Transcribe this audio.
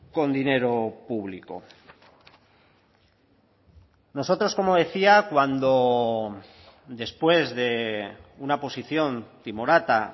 con dinero público nosotros como decía cuando después de una posición timorata